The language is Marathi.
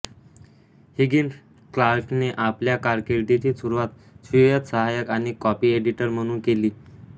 हिगिन्स क्लार्कने आपल्या कारकीर्दीची सुरुवात स्वीय सहायक आणि कॉपी एडिटर म्हणून केली